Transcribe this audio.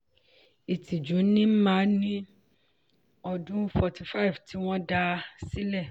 ìtìjú ni n ma ní ọdún forty five tí wọ́n dá a sílẹ̀.